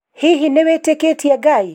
Hihi nĩ witĩkĩtie Ngai?